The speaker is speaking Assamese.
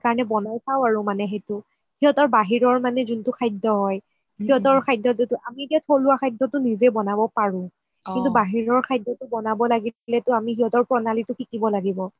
সেইকাৰণে বনাই চাও আৰু সেইটো সিহতৰ বাহিৰৰ যোনটো খাদ্য সিহতৰ খাদ্যটো আমি এতিয়া থলুৱা খাদ্যটো নিজে বনাব পাৰো কিন্তু বাহিৰৰ খাদ্যটো বনাব লাগিলে আমি সিহতৰ প্ৰণালিটো শিকিব লাগিব